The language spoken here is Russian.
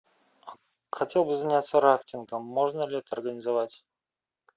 хотел бы заняться рафтингом можно ли это организовать